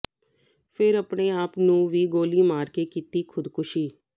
ਫਿਰ ਆਪਣੇ ਆਪ ਨੂੰ ਵੀ ਗੋਲੀ ਮਾਰ ਕੇ ਕੀਤੀ ਖੁਦਕੁਸ਼ੀ